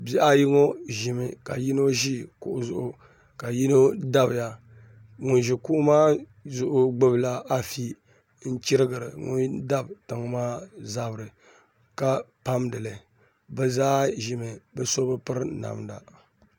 Bihi ayi ŋo ʒimi ka yino ʒi kuɣu zuɣu ka yino dabiya ŋun ʒi kuɣu maa zuɣu gbubila afi n chirigiri ŋun dabi tiŋ maa zabiri ka pamdili bi zaa ʒimi bi so bi piri namda